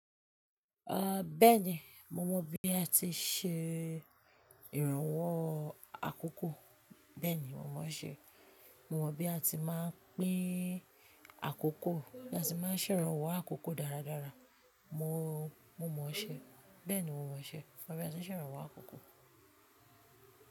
Ah, bẹ́ẹ̀ni, mo mọ̀ bí a ti n ṣe ìrànwọ́ àkókò. Bẹ́ẹ̀ni, mo mọ̀ ọ́ ṣe. Mo mọ̀ bí a ti máa ń pin àkókò, bí a se máa ń ṣe ìrànwọ́ àkókò dáradára. Mo, mo mọ̀ ọ́ ṣe. Bẹ́ẹ̀ni, mo mọ̀ ọ́ ṣe. Mo mọ̀ bí a ti ṣe ń ṣe ìrànwọ́ àkókò.